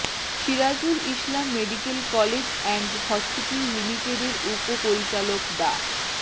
Sirajul Islam medical college and hospital লিমিটেডের উপ পরিচালক ডা